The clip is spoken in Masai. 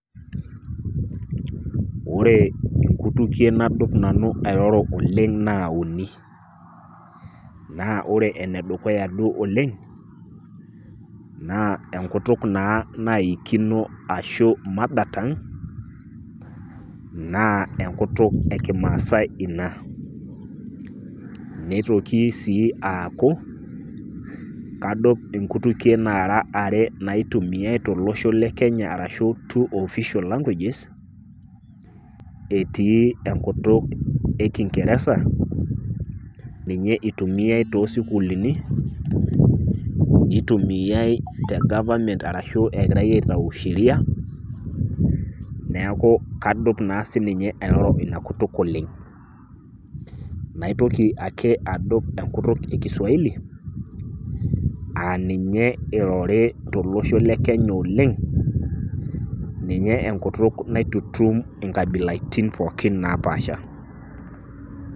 ore inkutukie nadup nanu airoro oleng naa uni. ore ene dukuya oleng' naa enkutuk naa naikino ashu mother tongue naa enkutuk ekimaasae ina .Neitoki sii aaku kadup Inkutukie nara are naitumiay tolosho le Kenya arashu two official languages, etii enkutuk e kingeresa ninye itumiay too sukuulini ,nitumiay te government arashu egirae aitayu sheria niaku kadup naa sinye airoro ina kutuk oleng. naitoki ake adup enkutuk e kiswahili ,aa ninye eirori tolosho lekenya oleng ,ninye enkutuk naitutum nkabilaitin pookin naapaasha.